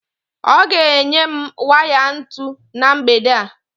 Ọ ga-enye m waya ntu na mgbede a